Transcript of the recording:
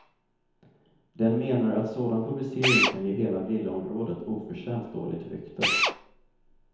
Den menar att sådan publicering kan ge hela villaområdet oförtjänt dåligt rykte.